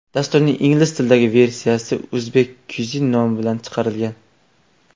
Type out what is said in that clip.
Dasturning ingliz tilidagi versiyasi Uzbek Cuisine nomi bilan chiqarilgan.